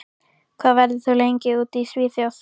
Hvað verður þú lengi úti í Svíþjóð?